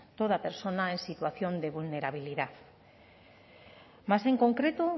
toda persona en situación de vulnerabilidad más en concreto